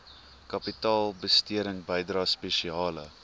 kapitaalbesteding bydrae spesiale